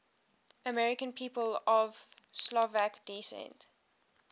american people of slovak descent